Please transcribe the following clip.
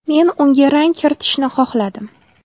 Men unga rang kiritishni xohladim.